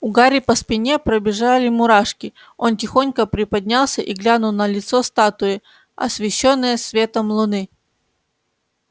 у гарри по спине побежали мурашки он тихонько приподнялся и глянул на лицо статуи освещённое светом луны